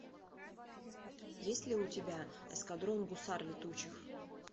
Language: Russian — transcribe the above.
есть ли у тебя эскадрон гусар летучих